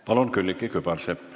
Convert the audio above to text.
Palun, Külliki Kübarsepp!